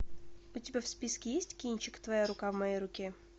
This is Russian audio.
у тебя в списке есть кинчик твоя рука в моей руке